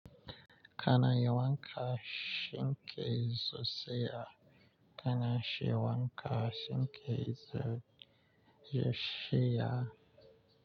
Kana yawanka shinke zuciya, kana shi yawanka shinke zuciya.